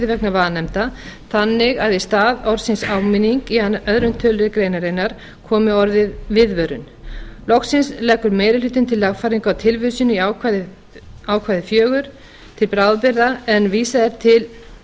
vegna vanefnda þannig að í stað orðsins áminning í öðrum tölulið greinarinnar komi orðið viðvörun loks leggur meiri hlutinn til lagfæringu á tilvísun í ákvæði fjórar til bráðabirgða en vísað er